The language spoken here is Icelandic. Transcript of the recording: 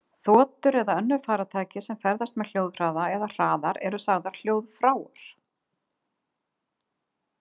Þotur eða önnur farartæki sem ferðast með hljóðhraða eða hraðar eru sagðar hljóðfráar.